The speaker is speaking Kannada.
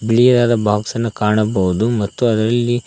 ಬಿಳಿಯಾದ ಬಾಕ್ಸ್ ಅನ್ನು ಕಾಣಬಹುದು ಮತ್ತು ಅದರಲ್ಲಿ--